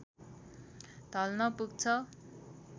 ढल्न पुग्छ